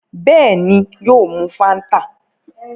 Bẹ́ẹ̀ni, yóò mu Fáńtà.